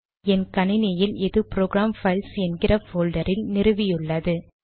என் கணினியில் இது program files என்கிற போல்டர் இல் நிறுவியுள்ளது